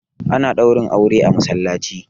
ana Ɗaurin aure a masallaci